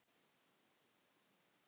Ég trufla hana.